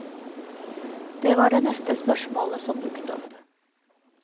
Det var det neste spørsmålet som dukket opp.